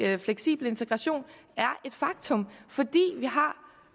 at fleksibel integration er et faktum fordi vi har